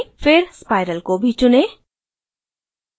फिर spiral को भी चुनें